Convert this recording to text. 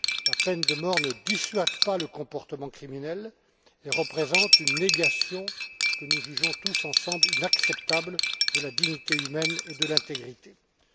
La peine de mort ne dissuade pas le comportement criminel et représente une négation que nous jugeons tous ensemble inacceptable de la dignité et de l'intégrité humaines.